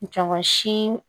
Jama si